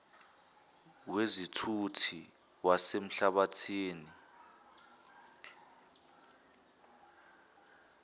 wezithuthi zasemhlabathini nltta